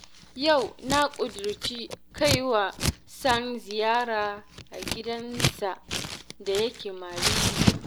Yau na ƙudirce kai wa Sani ziyara a gidansa da yake Mariri